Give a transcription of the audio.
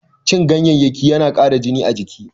Cin ganyayyaki yana ƙara jini a jiki.